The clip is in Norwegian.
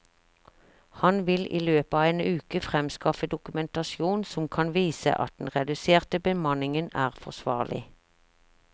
Han vil i løpet av en uke fremskaffe dokumentasjon som kan vise at den reduserte bemanningen er forsvarlig.